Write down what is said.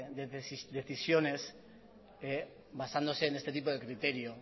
de decisiones basándose en este tipo de criterio